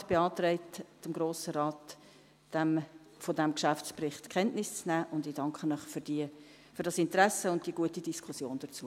Der Regierungsrat beantragt dem Grossen Rat, diesen Geschäftsbericht zur Kenntnis zu nehmen, und ich danke Ihnen für das Interesse und die gute Diskussion dazu.